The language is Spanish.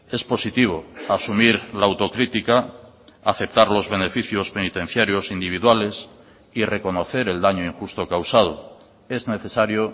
es positivo asumir la autocrítica aceptar los beneficios penitenciarios individuales y reconocer el daño injusto causado es necesario